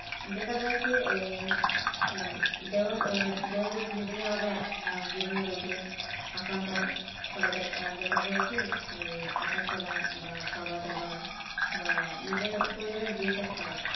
দেখা যায় ওই কি দেহ দেহ যখন বিভিন্ন রোগে বিভিন্ন রোগে আক্রান্ত হয় তাহলে দেখা যায় কি ওই হাঁটাচলা বা ওই খাওয়ার দাবার বা নিজের প্রয়োজনের যেসব কাজ